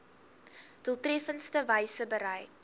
doeltreffendste wyse bereik